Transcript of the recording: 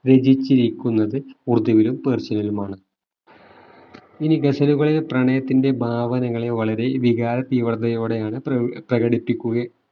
രചിച്ചിരിക്കുന്നത് ഉറുദുവിലും persian നിലുമാണ് ഇനി ഗസലുകളിൽ പ്രണയത്തിന്റെ ഭാവനകളെ വളരെ വികാര തീവ്രതയോടെയാണ് പ്രകടി പ്രകടിപ്പിക്കുകയും